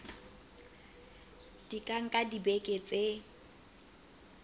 di ka nka dibeke tse